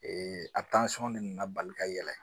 de nana bali ka yɛlɛ